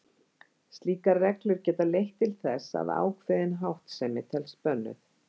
Slíkar reglur geta því leitt til þess að ákveðin háttsemi telst bönnuð.